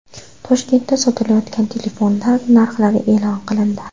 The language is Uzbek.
Toshkentda sotilayotgan telefonlar narxlari e’lon qilindi.